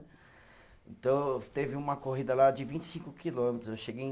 Então, teve uma corrida lá de vinte e cinco quilômetros, eu cheguei em